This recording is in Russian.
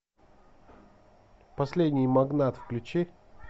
последний магнат включи